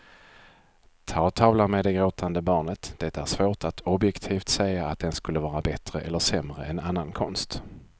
Ta tavlan med det gråtande barnet, det är svårt att objektivt säga att den skulle vara bättre eller sämre än annan konst.